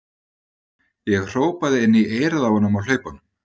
Ég hrópaði inn í eyrað á honum á hlaupunum.